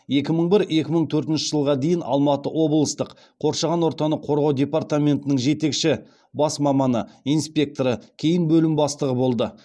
екі мың бір екі мың төртінші жылға дейін алматы облыстық қоршаған ортаны қорғау департаментінің жетекші бас маманы инспекторы кейін бөлім бастығы болды